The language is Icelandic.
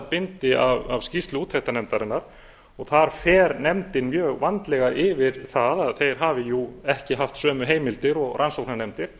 bindi af skýrslu úttektarnefndarinnar og þar fer nefndin mjög vandlega yfir það að þeir hafi jú ekki haft sömu heimildir og rannsóknarnefndin